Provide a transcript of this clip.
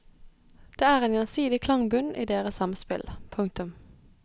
Det er en gjensidig klangbunn i deres samspill. punktum